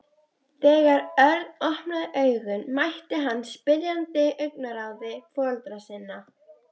Þegar Örn opnaði augun mætti hann spyrjandi augnaráði foreldra sinna.